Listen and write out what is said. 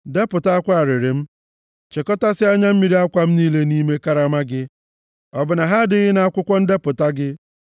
Depụta akwa arịrị m; chekọtasịa anya mmiri akwa m niile nʼime karama gị. Ọ bụ na ha adịghị nʼakwụkwọ ndepụta gị?